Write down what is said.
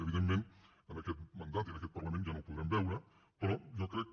evidentment en aquest mandat i en aquest parlament ja no ho podrem veure però jo crec